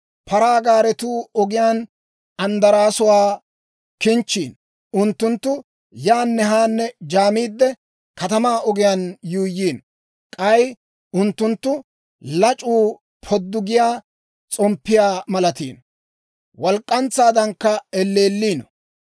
Paraa gaaretuu ogiyaan andaraasuwaa kinchchiino; unttunttu yaanne haanne jaamiidde, katamaa ogiyaan yuuyyiino. K'ay unttunttu lac'uu poddu giyaa s'omppiyaa malatiino; walk'k'antsaadankka elleelliino.